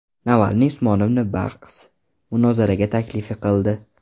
Navalniy Usmonovni bahs-munozaraga taklif qildi.